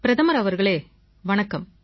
பிரதமர் அவர்களே வணக்கம்